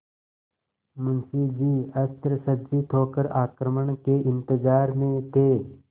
मुंशी जी अस्त्रसज्जित होकर आक्रमण के इंतजार में थे